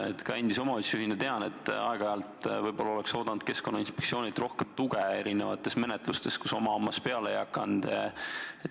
Ütlen endise omavalitsusjuhina, et aeg-ajalt oleks oodanud Keskkonnainspektsioonilt rohkem tuge mitmesugustes menetlustes, kus oma hammas peale ei hakanud.